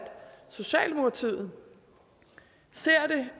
socialdemokratiet ser det